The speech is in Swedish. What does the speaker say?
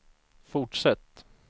fortsätt